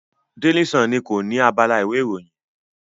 Daily Sun ni kọ ni abala ìwé ìròyìn.